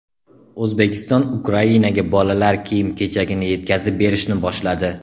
O‘zbekiston Ukrainaga bolalar kiyim-kechagini yetkazib berishni boshladi.